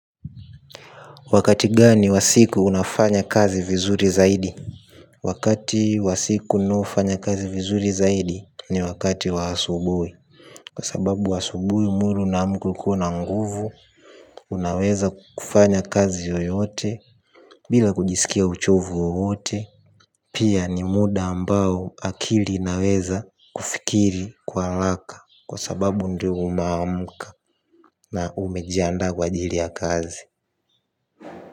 Wakati gani wa siku unafanya kazi vizuri zaidi? Wakati wasiku ninaofanya kazi vizuri zaidi ni wakati wa asubuhi. Kwa sababu asubuhi mwili unaamka ukiwa na nguvu. Unaweza kufanya kazi yoyote. Bila kujisikia uchovu wowote. Pia ni muda ambao akili inaweza kufikiri kwa haraka. Kwa sababu ndio unaamka na umejiandaa kwa ajili ya kazi.